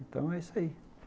Então é isso aí.